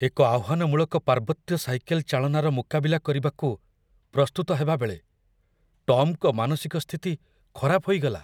ଏକ ଆହ୍ୱାନମୂଳକ ପାର୍ବତ୍ୟ ସାଇକେଲ ଚାଳନାର ମୁକାବିଲା କରିବାକୁ ପ୍ରସ୍ତୁତ ହେବାବେଳେ ଟମ୍‌ଙ୍କ ମାନସିକ ସ୍ଥିତି ଖରାପ ହୋଇଗଲା।